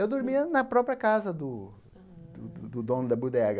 Eu dormia na própria casa do do do dono da bodega.